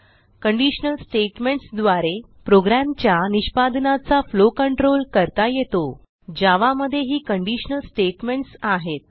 conditional statements द्वारे प्रोग्रॅमचा निष्पादनाचा फ्लो कंट्रोल करता येतो जावा मध्ये ही कंडिशनल स्टेटमेंट्स आहेत